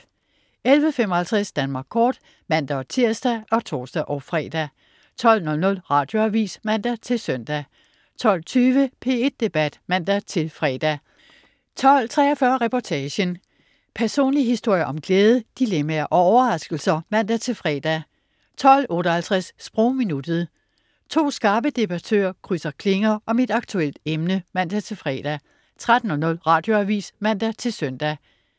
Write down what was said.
11.55 Danmark kort (man-tirs og tors-fre) 12.00 Radioavis (man-søn) 12.20 P1 Debat (man-fre) 12.43 Reportagen. Personlige historier om glæde, dilemmaer og overraskelser (man-fre) 12.58 Sprogminuttet. To skarpe debattører krydse klinger om et aktuelt emne (man-fre) 13.00 Radioavis (man-søn)